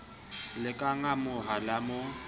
le ka ngamoha la mo